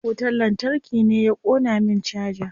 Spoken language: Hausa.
Wutar lantarki ne ya ƙona min caja.